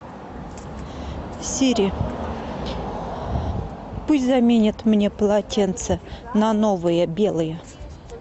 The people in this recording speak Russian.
сири пусть заменят мне полотенца на новые белые